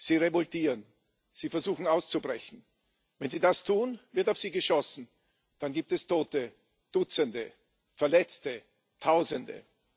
Sie revoltieren, sie versuchen auszubrechen. Wenn sie das tun, wird auf sie geschossen, dann gibt es Tote Dutzende, Verletzte Tausende.